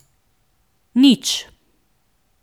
Nič.